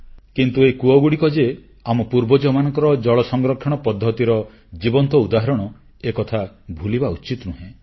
କିନ୍ତୁ ଏହି କୂଅଗୁଡ଼ିକ ଯେ ଆମ ପୂର୍ବଜମାନଙ୍କର ଜଳ ସଂରକ୍ଷଣ ପଦ୍ଧତିର ଜୀବନ୍ତ ଉଦାହରଣ ଏକଥା ଭୁଲିବା ଉଚିତ ନୁହେଁ